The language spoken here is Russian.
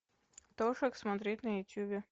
тошек смотреть на ютубе